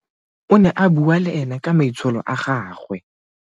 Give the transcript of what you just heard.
O ne a bua le ena ka maitsholo a gagwe.